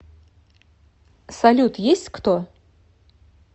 салют есть кто